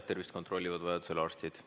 Tervist kontrollivad vajadusel arstid.